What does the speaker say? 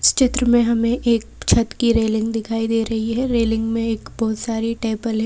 इस चित्र में हमें एक छत की रेलिंग दिखाई दे रही है रेलिंग में एक बहुत सारी टेबल है।